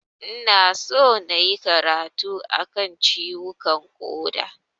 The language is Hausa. Ina son nayi karatu a kan ciwukan ƙoda.